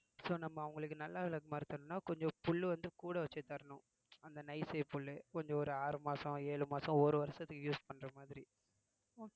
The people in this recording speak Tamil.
so நம்ம அவங்களுக்கு நல்ல விளக்கமாறு தரணும்னா கொஞ்சம் புல்லு வந்து கூட வச்சு தரணும் அந்த nice shape கொஞ்சம் ஒரு ஆறு மாசம் ஏழு மாசம் ஒரு வருஷத்துக்கு use பண்ணறமாதிரி